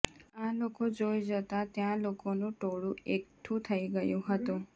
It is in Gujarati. આ લોકો જોઈ જતા ત્યાં લોકોનું ટોળુ એકઠુ થઈ ગયું હતું